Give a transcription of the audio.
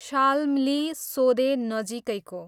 शाल्मली सोदे नजिकैको